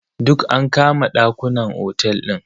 Duk an kama ɗakunan otel din.